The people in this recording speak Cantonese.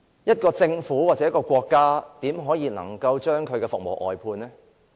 一個政府或國家怎可以把服務外判呢？